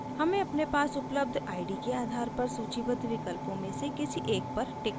हमें अपने पास उपलब्ध id के आधार पर सूचीबद्ध विकल्पों में से किसी एक पर टिक करना है